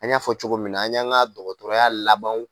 An y'a fɔ cogo min na an y'an ka dɔgɔtɔrɔya laban